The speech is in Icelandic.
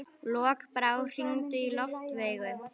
Lokbrá, hringdu í Loftveigu.